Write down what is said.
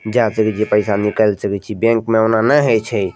जाए करि के पैसा निकाएल सकय छीये बैंक में ओना नैए होय छै।